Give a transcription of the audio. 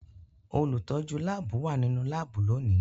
Olutọju laabu wa ninu laabu loni.